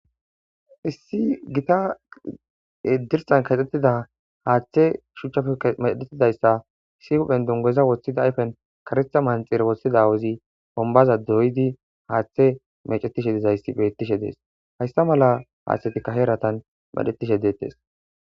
Issi gita dirsan kaxxettida haaththe shuchchape mecedhettidayssa isi huphen dungeza wothida ayfen karitha manxir wothida awazi bombaza doydi haaththe mecettishe dizayssi bettishe dees hayssa mala haaththetikka heeratan medhettishe deettes.